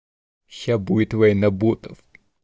сейчас будет война ботов